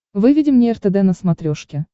выведи мне ртд на смотрешке